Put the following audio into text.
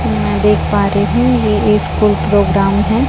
मै देख पा रही हु ये एक स्कूल प्रोग्राम है।